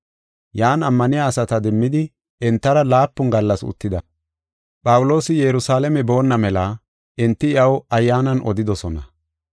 Yan ammaniya asata demmidi entara laapun gallas uttida. Phawuloosi Yerusalaame boonna mela enti iyaw Ayyaanan odidosona.